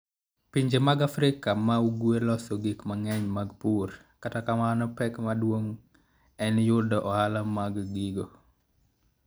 Pinje mag Afrika ma Ugwe loso gik mang'eny mag pur, kata kamano, pek maduong' en yudo ohala mar gigo.